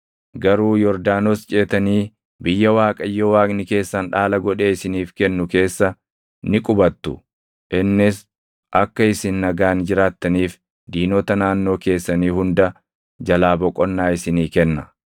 Garuu Yordaanos ceetanii biyya Waaqayyo Waaqni keessan dhaala godhee isiniif kennu keessa ni qubattu; innis akka isin nagaan jiraattaniif diinota naannoo keessanii hunda jalaa boqonnaa isinii kenna.